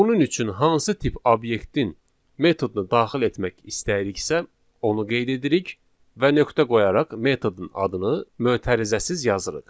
Bunun üçün hansı tip obyektin metodunu daxil etmək istəyiriksə, onu qeyd edirik və nöqtə qoyaraq metodun adını mötərizəsiz yazırıq.